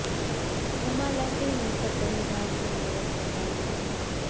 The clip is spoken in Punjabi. ਉਮਾ ਲਹਿਰੀ ਨੇ ਭਜਨ ਗਾ ਕੇ ਮੋਹਿਆ ਸਭ ਦ ਮਨ